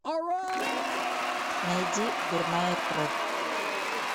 найди дурная кровь